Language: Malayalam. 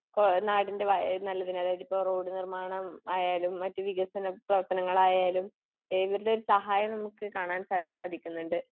ഇപ്പോ നാടിൻ്റെ നല്ലതിന് അതായത് ഇപ്പൊ റോഡ് നിർമാണം ആയാലും മറ്റു വികസന പ്രവർത്തനങ്ങൾ ആയാലും ഇവരുടെ ഒരു സഹായം നമുക്ക് കാണാൻ സാധിക്കുന്നുണ്ട്